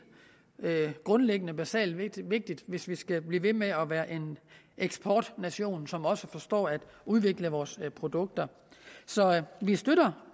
grundlæggende og basalt vigtigt hvis vi skal blive ved med at være en eksportnation som også forstår at udvikle vores produkter så vi støtter